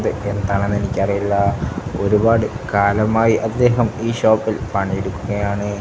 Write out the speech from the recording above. എന്താണെന്നെനിക്കറിയില്ല ഒരുപാട് കാലമായി അദ്ദേഹം ഈ ഷോപ്പിൽ പണിയെടുക്കുകയാണ്.